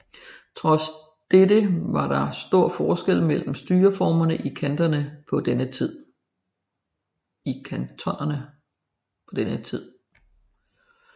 Trods dette var der store forskelle mellem styreformerne i kantonerne på denne tid